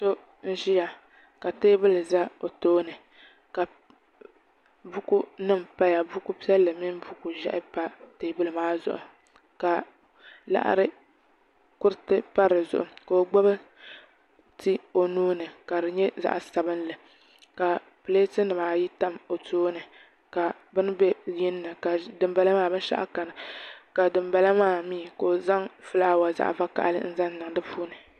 So n ʒiya ka teebuli ʒɛ o tooni ka buku nim paya buku piɛlli mini buku ʒiɛhi pa teebuli maa zuɣu ka laɣa kuriti pa di zuɣu ka o gbubi ti o nuuni ka di nyɛ zaɣ sabinli ka pileet nimaa ayi tam o tooni ka bini bɛ yinni dinbala maa binshaɣu kani ka dinbala maa mii ka o zaŋ fulaawa zaɣ vakaɣali n niŋ di puuni